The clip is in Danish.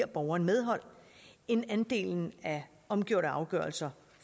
borgeren medhold end andelen af omgjorte afgørelser